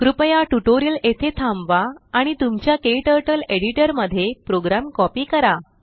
कृपया ट्यूटोरियल येथे थांबवा आणि तुमच्या क्टर्टल एडिटर मध्ये प्रोग्राम कॉपी करा